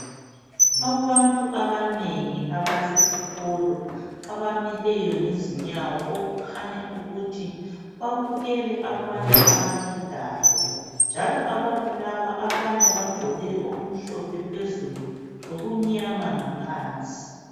Abantu abanengi abasesikolo abamileyo ngezinyawo okukhanya ukuthi babukele abantu abagidayo njalo abantu laba abanye bagqoke okumhlophe phezulu lokumnyama ngaphansi.